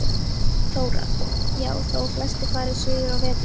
Þóra: Já, þó að flestir fari suður á veturna?